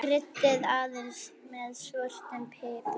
Kryddið aðeins með svörtum pipar.